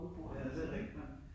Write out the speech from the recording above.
Ja ja, det rigtigt nok